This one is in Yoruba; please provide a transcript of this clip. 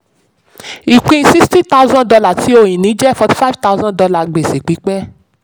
ìpín sixty thousand dollar ti ohun-ìní jẹ́ forty five thousand dollar gbèsè pípẹ́.